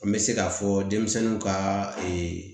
An bɛ se k'a fɔ denmisɛnninw ka